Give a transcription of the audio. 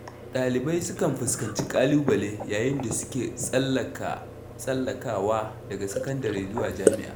Dalibai sukan fuskanci ƙalubale yayin da suke tsallakawa daga sakandare zuwa jami’a.